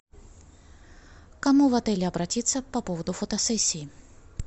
кому в отеле обратиться по поводу фотосессии